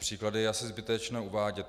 Příklady je asi zbytečné uvádět.